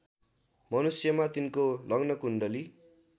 मनुष्यमा तिनको लग्नकुण्डली